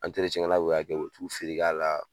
An kɛlaw y'a kɛ u bi t'u feere k'a la